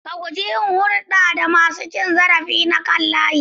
Ka guji yin hulɗa da masu cin zarafi na kan layi.